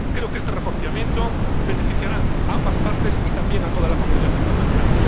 Creo que este reforzamiento beneficiará a ambas partes y, también, a toda la comunidad internacional.